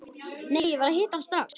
Nei, ég verð að hitta hann strax.